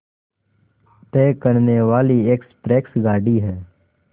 तय करने वाली एक्सप्रेस गाड़ी है